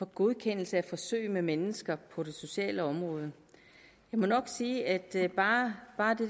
godkendelse af forsøg med mennesker på det sociale område jeg må nok sige at bare